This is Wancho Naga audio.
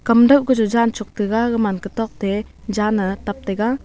kan dak koh chu jan chok tega aga man kachuk te jan chong tega.